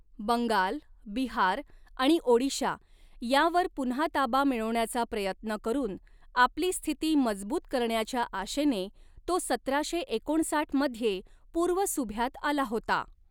बंगाल, बिहार आणि ओडिशा यांवर पुन्हा ताबा मिळवण्याचा प्रयत्न करून आपली स्थिती मजबूत करण्याच्या आशेने तो सतराशे एकोणसाठ मध्ये पूर्व सुभ्यात आला होता.